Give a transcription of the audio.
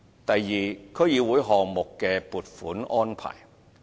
第二，區議會項目的撥款安排。